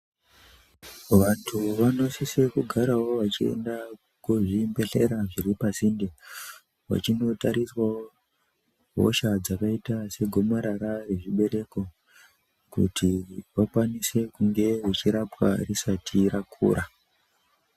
Vantu vanosisawo vachienda kuzvibhedhlera zviri pasinde vachindotariswawo hosha dzakaita segomarara rechibereko Kuti vakwanise kunge vechirapwa risati rakura.